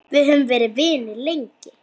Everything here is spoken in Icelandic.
Við höfum verið vinir lengi.